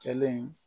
Kɛlen